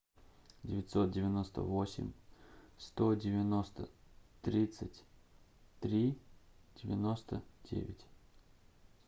девятьсот девяносто восемь сто девяносто тридцать три девяносто девять